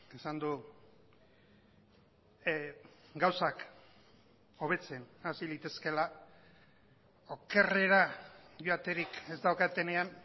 esan du gauzak hobetzen hasi litezkeela okerrera joaterik ez daukatenean